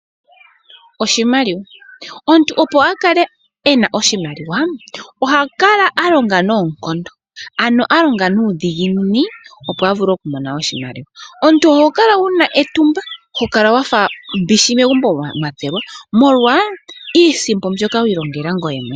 Oshimaliwa, omuntu opo a kale ena oshimaliwa oha kala a longa noonkondo ano a longa nuudhiginini, opo a vule oku mona oshimaliwa. Omuntu oho kala wuna etumba ho kala wafa mbishi megumbo mwa tselwa molwa iisimpo mbyoka wiilongeka ngoye mwene.